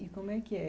E como é que é?